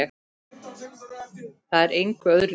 Það er engu öðru líkt.